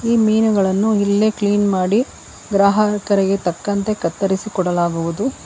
ಈ ಮೀನುಗಳನ್ನು ಇಲ್ಲೇ ಕ್ಲೀನ್ ಮಾಡಿ ಗ್ರಾಹಕರಿಗೆ ತಕ್ಕಂತೆ ಕತ್ತರಸಿ ಕೊಡಲಾಗುವುದು.